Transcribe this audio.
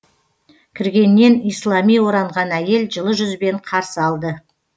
кіргеннен ислами оранған әйел жылы жүзбен қарсы алды